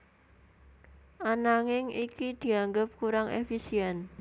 Ananging iki dianggep kurang éfisién